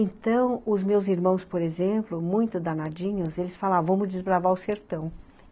Então, os meus irmãos, por exemplo, muito danadinhos, eles falavam, vamos desbravar o sertão.